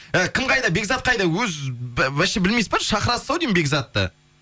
і кім қайда бекзат қайда өзі вообще білмейсіз ба шақырасыз ау деймін бекзатты